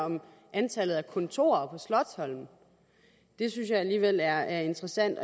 om antallet af kontorer på slotsholmen det synes jeg alligevel er interessant